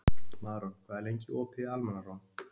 Maron, hvað er lengi opið í Almannaróm?